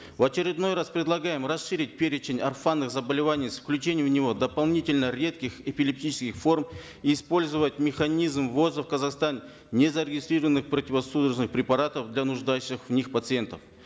в очередной раз предлагаем расширить перечень орфанных заболеваний с включением в него дополнительно редких эпилептических форм и использовать механизм ввоза в казахстан незарегистрированных противосудорожных препаратов для нуждающихся в них пациентов